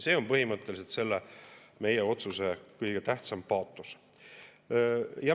See on põhimõtteliselt selle meie otsuse kõige tähtsam paatos.